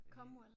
Comwell